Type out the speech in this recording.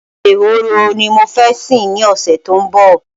Ehoro ni mo fẹ́ sìn ní ọ̀sẹ̀ tó ń bọ̀